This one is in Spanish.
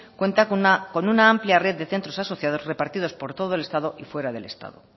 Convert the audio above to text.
cuenta con una amplia red de centros asociados repartidos por todo el estado y fuera del estado